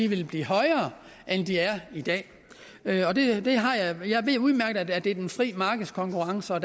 vil blive højere end de er i dag jeg ved udmærket at der er den frie markedskonkurrence og